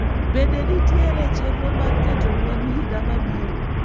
bende nitiere chenro mar keto mwandu higa mabiro